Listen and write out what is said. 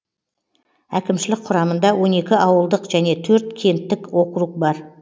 әкімшілік құрамында он екі ауылдық және төрт кенттік округ бар